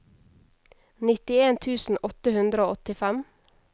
nittien tusen åtte hundre og åttifem